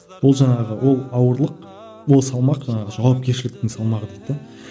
ол жаңағы ол ауырлық ол салмақ жаңағы жауапкершіліктің салмағы дейді де